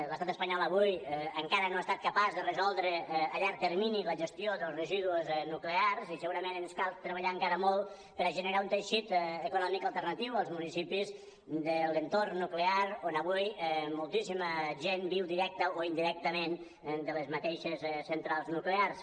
l’estat espanyol avui encara no ha estat capaç de resoldre a llarg termini la gestió dels residus nuclears i segurament ens cal treballar encara molt per a generar un teixit econòmic alternatiu als municipis de l’entorn nuclear on avui moltíssima gent viu directament o indirectament de les mateixes centrals nuclears